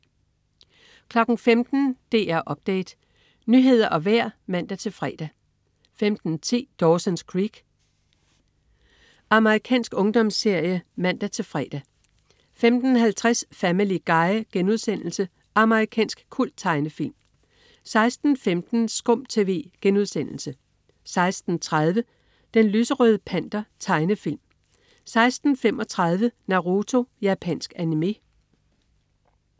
15.00 DR Update. Nyheder og vejr (man-fre) 15.10 Dawson's Creek. Amerikansk ungdomsserie (man-fre) 15.50 Family Guy.* Amerikansk kulttegnefilm 16.15 SKUM TV* 16.30 Den lyserøde Panter. Tegnefilm 16.35 Naruto. Japansk animé